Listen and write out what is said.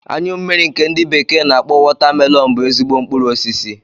Anyụ mmiri nke ndi bekee n'akpọ Watermelon bú ezigbo mkpụrụ osisi